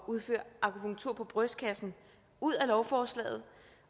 udføre akupunktur på brystkassen ud af lovforslaget